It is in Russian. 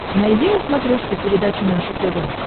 найди на смотрешке передачу наше тв